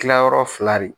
Kilayɔrɔ fila de